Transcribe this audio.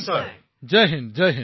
প্ৰধানমন্ত্ৰীঃ জয় হিন্দ